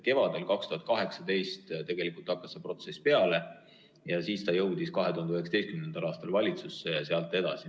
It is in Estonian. Kevadel 2018 hakkas see protsess peale, see jõudis 2019. aastal valitsusse ja läks sealt edasi.